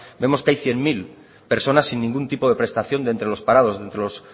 vemos que hay cien mil personas sin ningún tipo de prestación de entre los parados de entre los